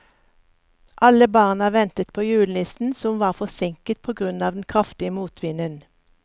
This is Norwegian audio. Alle barna ventet på julenissen, som var forsinket på grunn av den kraftige motvinden.